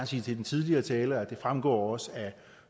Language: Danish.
sige til den tidligere taler at det også fremgår af